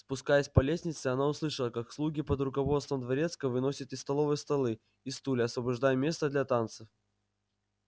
спускаясь по лестнице она услышала как слуги под руководством дворецкого выносят из столовой столы и стулья освобождая место для танцев